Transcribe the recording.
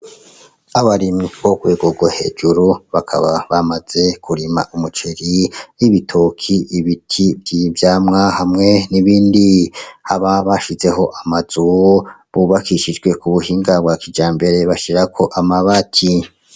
Abarimyi ko kwegorwa hejuru bakaba bamaze kurima umuceri n'ibitoki ibiti vy'ivyamwa hamwe n'ibindi haba bashizeho amazu bubakishijwe ku buhinga bwa kija mbere bashirako amabati.